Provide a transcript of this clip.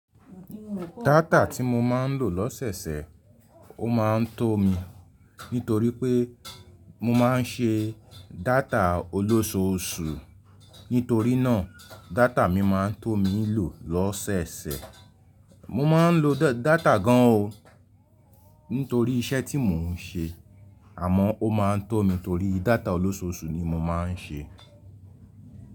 Data tí mo máa ń lò lọ́sẹ̀sẹ̀, ó máa ń tó mi nítorí pé mo máa ń ṣe data olóṣòóṣù. Nítorí náà, data mi máa ń tó mi lò lọ́sẹ̀sẹ̀. Mo máa ń lo data gan an o nítorí iṣẹ́ tí mò ń ṣe, àmọ́ ó máa ń tó mi torí data olóṣòóṣù ni mo máa ń ṣe.